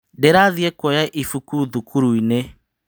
Ndĩrathie kuoya ibũkũ thukuruinĩ.